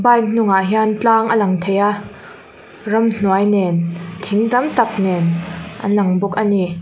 bike hnungah hian tlang a lang thei a ramhnuai nen thing tam tak nen an lang bawk a ni.